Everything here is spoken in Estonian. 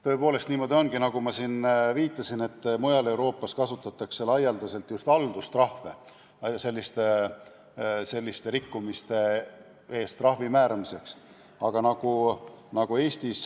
Tõepoolest, niimoodi ongi, nagu ma siin viitasin, et mujal Euroopas kasutatakse selliste rikkumiste eest trahvide määramisel laialdaselt just haldustrahve.